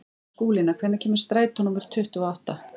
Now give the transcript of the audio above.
Skúlína, hvenær kemur strætó númer tuttugu og átta?